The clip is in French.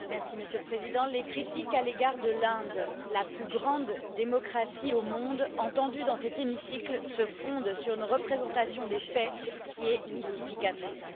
Monsieur le Président, les critiques à l'égard de l'Inde, la plus grande démocratie au monde, entendues dans cet hémicycle se fondent sur une représentation des faits qui est mystificatrice.